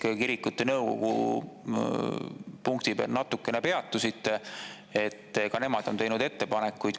Te kirikute nõukogu punktidel ennist natuke peatusite, ka nemad on teinud ettepanekuid.